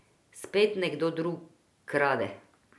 Spet nekdo drug krade.